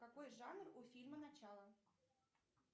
какой жанр у фильма начало